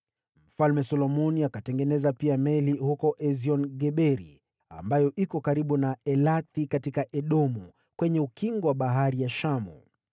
Mfalme Solomoni pia akatengeneza pia meli huko Esion-Geberi, ambayo iko karibu na Elathi katika Edomu, kwenye ukingo wa Bahari ya Shamu.